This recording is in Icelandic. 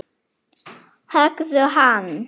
Höggðu hann!